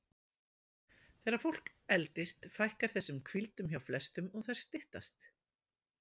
Þegar fólk eldist fækkar þessum hvíldum hjá flestum og þær styttast.